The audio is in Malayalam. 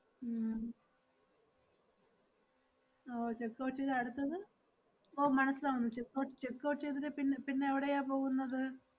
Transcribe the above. ഉം ഓ checkout ചെയ്ത് അടുത്തത് ഓ മനസ്സിലാവുന്നു. checkou~ checkout ചെയ്‍തിട്ട് പിന്ന~ പിന്നെവിടെയാ പോകുന്നത്?